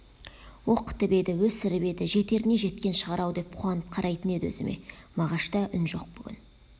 оқытып еді өсіріп еді жетеріне жеткен шығар-ау деп қуанып қарайтын еді өзіме мағашта үн жоқ бүгін